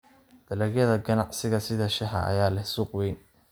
Dalagyada ganacsiga sida shaaha ayaa leh suuq weyn.